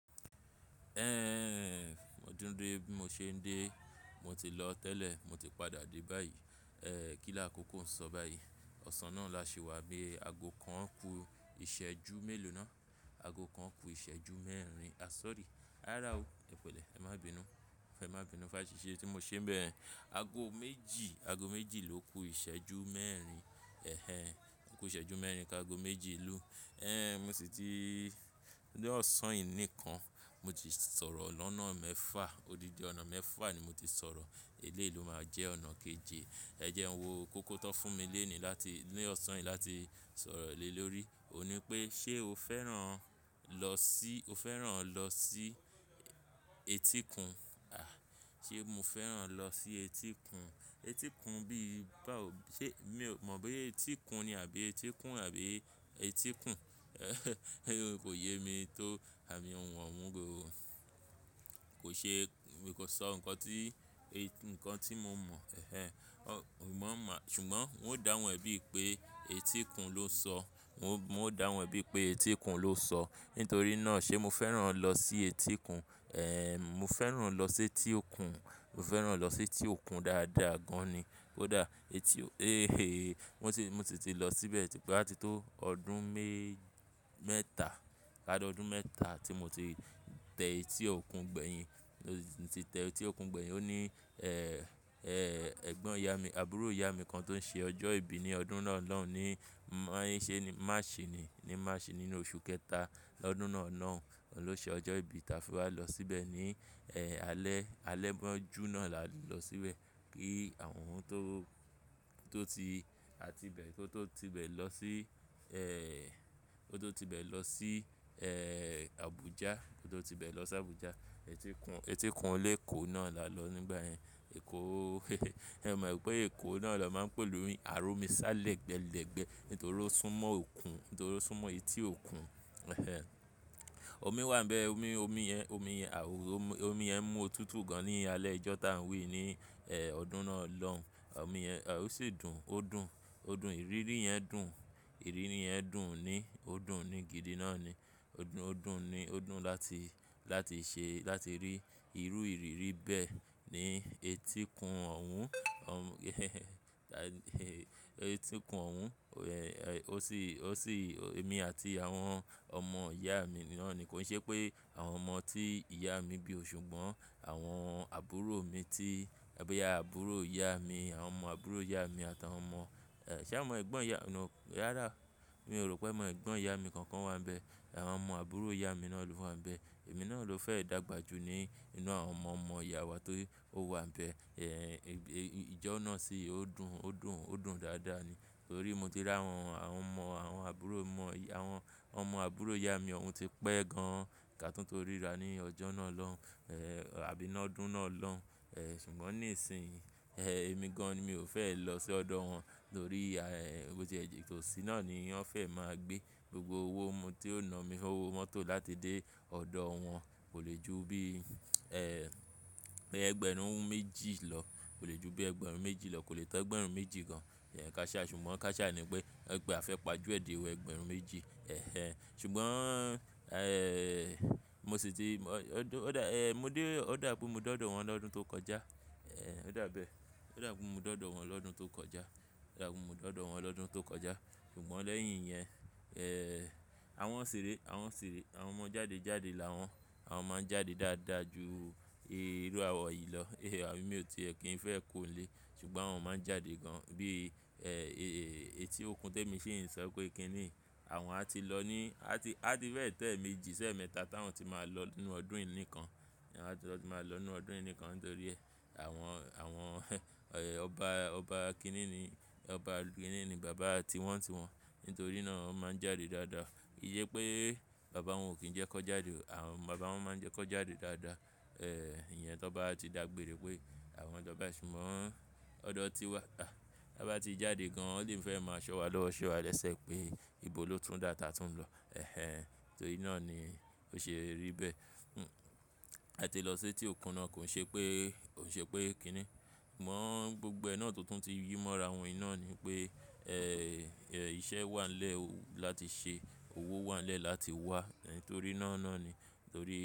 Ẹ́, mo tun de bí mo ṣe ń dé, mo ti lọ tẹ́lẹ̀, mo ti padà dé báyìí. E, kílà kókó ń sọ báyìí. Ọ̀sán náà la ṣi wá bí i ago kan kú ìṣẹ́jú mélòó náà? Ago kan kú ìṣẹ́jú mẹ́rin. A sọ̀rí, á rará ó. Ẹ pẹ̀lẹ́, ẹ má bínu. Ẹ má bínu fún aṣìṣe tí mo ṣe ń bẹ yen. Ago méjì, ago méjì ló kú ìṣẹ́jú mẹ́rin. Ẹ̀hẹn. O kú ìṣẹ́jú mẹ́rin kí ago méjì lù ú. Ẹ̀hẹn, mo sì ti ní ọ̀sán yìí nìkan, mo ti sọ̀rọ̀ lọ́nà mẹ́fà. O dídi ọ̀nà mẹ́fà ni mo ti sọ̀rọ̀. Eleyi lo máa jẹ́ ọ̀nà keje. Ẹ jẹ hun wo kókó ti won fún mi lénìí láti, ní ọ̀sán yìí láti sọ̀rọ̀ lé lórí. Ó ní pé ṣé o fẹ́ràn lọ sí, o fẹ́ràn lọ sí etíkun? A, ṣé mo fẹ́ràn lọ sí etíkun? Etíkun bí i bá ò, ṣé, mi ò mọ̀ pé etíkun ni àbí etíkun àbí Etíkùn. Kò yé mi tó àmì ohùn ọ̀wọ́n gòro. Kò ṣe, mi kò sọ ǹkan tí, ǹkan tí mo mọ̀. Ẹ̀hẹn. Ò mọ̀ má, ṣùgbọ́n n ó dá wọn ẹbí pé Etíkùn ló ń sọ. N ó, n ó dá hun re bi i pé Etíkùn ló ń sọ. Nítorí náà ṣe mo fẹ́ràn lọ sí Etíkùn. E, mo fẹ́ràn lọ sí etí òkun. Mo fẹ́ràn lọ sí etí òkun dáadáa gan ni. Ó dáa. Etí o, mo ti, mo sì ti lọ síbẹ̀ ti pé á ti tó ọdún mé -mẹ́ta. A to dún mẹ́ta tí mo ti tẹ etí òkun gbẹ̀yìn. Mo ti tẹ etí òkun gbẹ̀yìn. Ó ní, ẹ, ẹgbọn ìyá mi, àbúrò ìyá mi kan tó ṣe ọjọ́ ìbí ní ọdún náà lọ́hun ní mọ́ ìṣẹ́ ni Masini, ní Masini nínú oṣù kẹta lọ́dún náà lọ́hun ló ṣe ọjọ́ ìbí táa fi wá lọ síbẹ̀ ní, ẹ, alẹ́, alẹ́ mọ́jú náà la lọ síbẹ̀. Kí àwọn ohun tó, tó ti, a ti bẹ̀, kó tó ti bẹ̀ lọ sí, ẹ, kó tó ti bẹ̀ lọ sí, ẹ, Abuja. Kó tó ti bẹ̀ lọ sí Abuja. Etíkùn, Etíkùn olé Èkó náà la lọ nígbà yẹn. Èkó, ẹ mọ̀ pé Èkó náà la máa ń pè ni "àro mi sá lẹ́gbẹ lẹ́gbẹ" nítorí ó sún mọ́ òkun, nítorí ó sún mọ́ etí òkun. Ẹ̀hẹn. Omi wà níbẹ̀. Omi, omi yẹn, omi yẹn, omi omi yẹn mú òtútù gan ní alẹ́ ijọ́ táà ń wí yí, ẹ, ọdún náà lọ́hun. Omi yẹn, ó sì dùn. Ó dùn. Ó dùn. I rí rí yẹn dùn. I rí rí yẹn dùn ni. Ó dùn ni gidi náà ni. Ó dùn, ó dùn ni. Ó dùn láti, láti ṣe, láti rí irú ìrírí bẹ́ẹ̀ ní Etíkùn ọ̀hun. Etíkùn ọ̀hun. E, o sì, o sì, èmi àti àwọn ọmọ ìyá mi náà ni. Kò i ṣe pé àwọn ọmọ tí ìyá mi bí o ṣùgbọ́n. Àwọn àbúrò mi tí, ẹbí àbúrò ìyá mi, àwọn ọmọ àbúrò ìyá mi àtàwọn ọmọ, ẹ, ṣe àwọn ẹ̀gbọ́n ìyá, nú, á rára. Mi ò rò pé ẹ̀gbọ́n ìyá mi kankan wà níbẹ̀. Àwọn ọmọ àbúrò ìyá mi náà ló wà níbẹ̀. Èmi náà ló fẹ́ dàgbà ju ní inú àwọn ọmọ ọmọ ìyá wa tó wà níbẹ̀. E, ijọ́ náà sì ó dùn, ó dùn, ó dùn dáadáa ni. Nítorí mo ti rí àwọn, àwọn ọmọ àwọn àbúrò ọmọ ìyá, àwọn ọmọ àbúrò ìyá mi ọ̀wọ́n ti pẹ́ gan ká tó tó ríra ní ọjọ́ náà lọ́hun. E, àbí lo dún náà lọ́hun. E, ṣùgbọ́n ní ìsìn, e, èmi gan ni mi ò fẹ́ lọ sí ọ̀dọ̀ wọn. Nítorí ìyá, e, ko tì ẹjì tó sí naá ni wọ́n fẹ́ máa gbé. Gbogbo owó mú tí ó na mi, owó mọ́tò láti dé ọ̀dọ̀ wọn kò lè ju bí, e, ẹgbẹ̀rún méjì lọ. Kò lè ju bí ẹgbẹ̀rún méjì lọ. Kò lè to ẹgbẹ̀rún méjì gan. E, káàṣa ni, ṣùgbọ́n káàṣá ni pé a fẹ́ pa ju ẹ̀ dẹ́ wó ẹgbẹ̀rún méjì. Ẹ̀hẹn. Ṣùgbọ́n, e, mo sì ti, ọdọ́, e, mo dé, ó dàbí mo dọ́dọ̀ wọn lọ́dún tó kọjá. E, ó dàbí ẹ. Ó dàbí mo dọ́dọ̀ wọn lọ́dún tó kọjá. Ó dàbí mo dọ́dọ̀ wọn lọ́dún tó kọjá. Ṣùgbọ́n lẹ́yìn yẹn, e, àwọn ṣiré, àwọn ń ṣire. Àwọn ọmọ jáde jáde làwọn. Àwọn máa ń jáde dáadáa ju irú àwa yìí lọ. E, emí ò ti ẹ kí n fẹ́ kúrò ni lè. Ṣùgbọ́n mo máa ń jáde gan bí, e, etí òkun tí èmi ṣì ń sọ pé kíni. Àwọn á ti lọ ní, á ti, á ti fẹ̀ tẹ́ eeméjì ṣi eemẹ́ta táwọn ti máa lọ nínú ọdún yìí nìkan. Á ti máa lọ nínú ọdún yìí nìkan nítorí ẹ. Àwọn, àwọn, ọba, ọba kini ni, ọba kini ni bàbá tiwọ́ntiwọ́n. Nítorí náà wọ́n máa ń jáde dáadáa. Ki i se pé bàbá wọn ò kín ń jẹ ki won jáde. Àwọn bàbá wọn máa ń jẹ ki won jáde dáadáa. E, ìyẹn tó bá ti dàgbére pé àwọn tọ́ bá ṣùgbọ́n ọ̀dọ̀ ti wà. A, bi won ba ti jáde gan, won lè ń fẹ́ máa ṣọ́ wa lọ́wọ́, ṣé wa lẹ́sẹ̀ pé ìbò ló tún dà ta tún ń lọ. Ẹ̀hẹn. Nítorí náà ni ó ṣe rí bẹ́ẹ̀. A ti lọ sí etí òkun náà. Kò ṣe pé, kò ṣe pé kíni. Mọ̀ gbogbo ẹ náà tó tún ti yi mọ́ra wọn i ná ni pé, e, iṣẹ́ wà nílẹ̀ o láti ṣe. Owó wà nílẹ̀ láti wá. Nítorí náà náà ni. Nítorí.